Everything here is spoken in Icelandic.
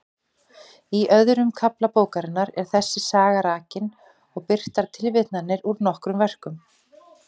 Í öðrum kafla bókarinnar er þessi saga rakin og birtar tilvitnanir úr nokkrum verkum.